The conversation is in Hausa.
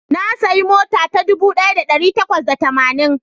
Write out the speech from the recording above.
Na sayi mota ta dubu daya da dari takwas da tamanin